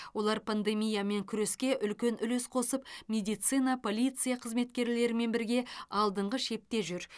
олар пандемиямен күреске үлкен үлес қосып медицина полиция қызметкерлерімен бірге алдыңғы шепте жүр